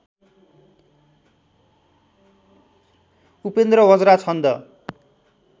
उपेन्द्रवज्रा छन्द